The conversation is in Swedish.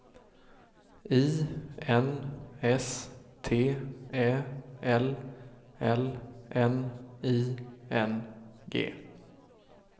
I N S T Ä L L N I N G